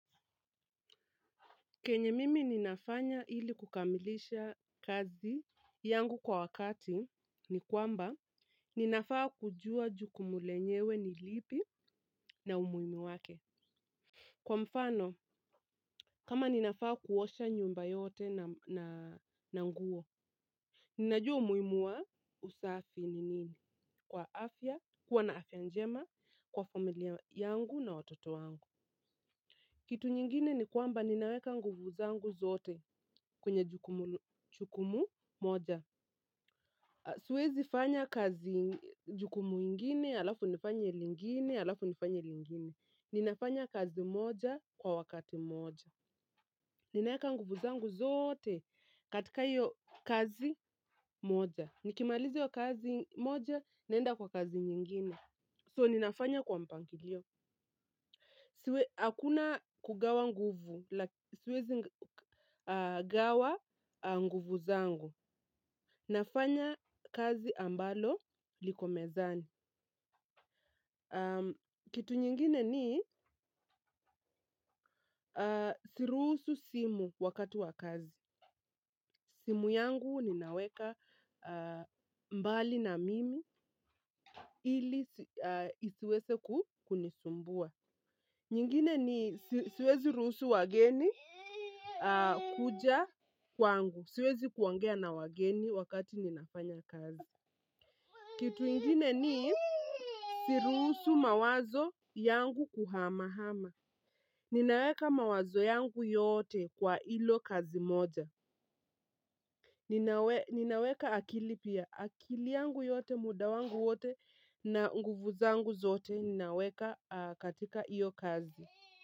Kenye mimi ninafanya ili kukamilisha kazi yangu kwa wakati ni kwamba ninafaa kujua jukumu lenyewe ni lipi na umuhimu wake. Kwa mfano, kama ninafaa kuosha nyumba yote na nguo, ninajua umuhimu wa usafi ni nini? Kwa afya, kuwa na afya njema, kwa familia yangu na watoto wangu. Kitu nyingine ni kwamba ninaweka nguvu zangu zote kwenye jukumu moja. Siwezi fanya kazi jukumu ingine, alafu nifanye lingine, alafu nifanye lingine. Ninafanya kazi moja kwa wakati moja. Ninaweka nguvu zangu zote katika hiyo kazi moja. Nikimalizi hiyo kazi moja naenda kwa kazi nyingine. So ninafanya kwa mpangilio. Hakuna kugawa nguvu, siwezi gawa nguvu zangu. Nafanya kazi ambalo liko mezani. Kitu nyingine ni si ruhusu simu wakati wa kazi. Simu yangu ninaweka mbali na mimi ili isiweze kukunisumbua. Nyingine ni siwezi ruhusu wageni kuja kwangu. Siwezi kuongea na wageni wakati ninafanya kazi. Kitu ingine ni siruhusu mawazo yangu kuhama-hama. Ninaweka mawazo yangu yote kwa hilo kazi moja. Ninaweka akili pia. Akili yangu yote, muda wangu wote na nguvu zangu zote. Ninaweka katika hiyo kazi.